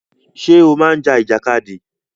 Ṣé o máa ń ja ìjàkadì?